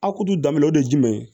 A kudu daminɛ o de ye jumɛn ye